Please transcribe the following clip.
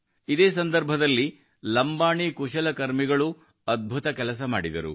ಇದೇ ಸಂದರ್ಭದಲ್ಲಿ ಲಂಬಾಣಿ ಕುಶಲಕರ್ಮಿಗಳೂ ಅದ್ಭುತ ಕೆಲಸ ಮಾಡಿದರು